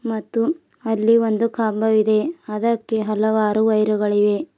ಮತ್ತು ಅಲ್ಲಿ ಒಂದು ಕಂಬವಿದೆ ಅದಕ್ಕೆ ಹಲವಾರು ವೈರುಗಳಿವೆ.